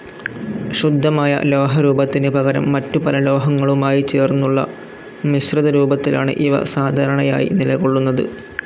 ശുദ്ധമായ ലോഹരൂപത്തിന് പകരം മറ്റുപല ലോഹങ്ങളുമായി ചേർന്നുള്ള മിശ്രിതരൂപത്തിലാണ് ഇവ സാധാരണയായി നിലകൊള്ളുന്നത്.